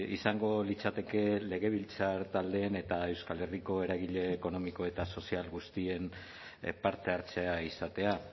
izango litzateke legebiltzar taldeen eta euskal herriko eragile ekonomiko eta sozial guztien parte hartzea izatea